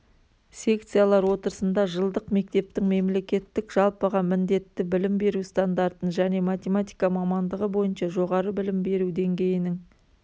секциялар отырысында жылдық мектептің мемлекеттік жалпыға міндетті білім беру стандартын және математика мамандығы бойынша жоғары білім беру деңгейінің